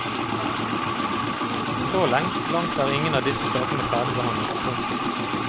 Så langt er ingen av disse sakene ferdigbehandlet. punktum